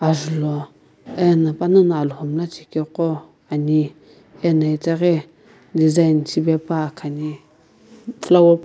julhou ena panano alhou mlla chekeqo ani ena itaghi design shipepua khani flower --